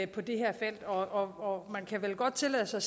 på det her felt og man kan vel godt tillade sig